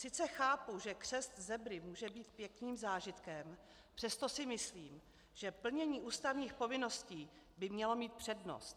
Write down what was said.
Sice chápu, že křest zebry může být pěkným zážitkem, přesto si myslím, že plnění ústavních povinností by mělo mít přednost.